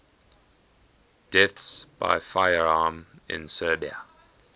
deaths by firearm in serbia